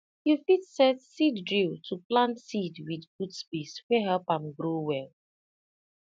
you fit set seed drill to plant seed with good space wey help am grow well